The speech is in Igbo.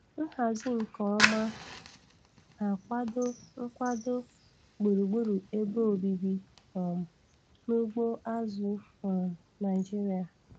Nhazi nke ọma na-akwado nkwado gburugburu ebe obibi um na ugbo azụ̀ um Naịjiria.